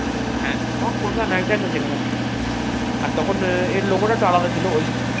হ্যাঁ তখন Kolkata Knight Riders লেখা থাকতো আর তখন এর লোগোটা একটু আলাদা ছিল ওই